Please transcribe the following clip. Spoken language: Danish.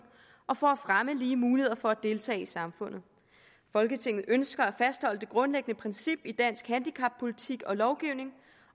og for at fremme lige muligheder for at deltage i samfundet folketinget ønsker at fastholde det grundlæggende princip i dansk handicappolitik og lovgivning